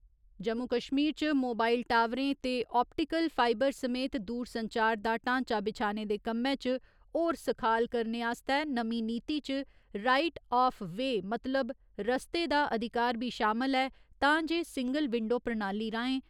जम्मू कश्मीर च मोबाइल टावरें ते ओपटिकल्ल फाईबर समेत दूरसंचार दा ढांचा बिछाने दे कम्मै च होर सखाल करने आस्तै नमीं नीति च राईट आफ वे मतलब रस्ते दा अधिकार बी शामल ऐ तां जे सिंगल विंडो प्रणाली राहें